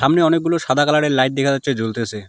এখানে অনেকগুলো সাদা কালার -এর লাইট দেখা যাচ্ছে জ্বলতেসে।